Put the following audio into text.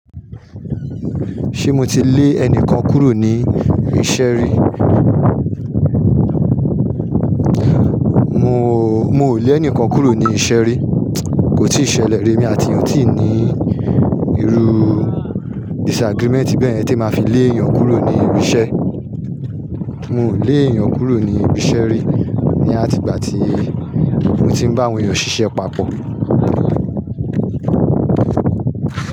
Ṣé mo ti lé ẹnìkan kúrò ní iṣẹ́ rí? Mò, mo ò lé ẹnìkan kúrò ní iṣẹ́ rí. Kò tíì ṣẹlẹ̀ rí, emi àti èèyàn ò tí ì ní irú disagreement bẹ́ẹ̀ tí máa fi lé èèyàn kúrò ní ibi iṣẹ́. Mo ò lé èèyàn kúrò ní ibi iṣẹ́ rí ní àtìgbà tí mo ti ń bá àwọn èèyàn ṣiṣẹ́ papọ̀